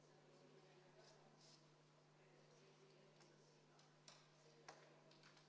Aitäh!